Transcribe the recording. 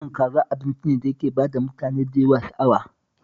Naman kaza abinci ne da yake ba wa mutane da yawa sha'awa